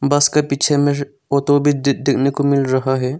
बस के पीछे में वो दो को मिल रहा है।